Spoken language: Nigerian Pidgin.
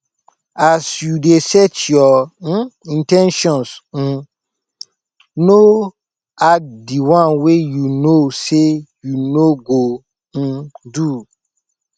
as you de set your um in ten tions um no add di one wey you know say you no go um do